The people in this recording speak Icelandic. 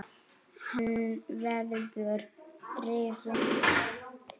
Hann verður rifinn.